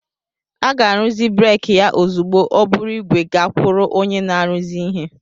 A ga-arụzi breeki ya ozugbo o buru ígwè gakwuru onye na-arụzi ihe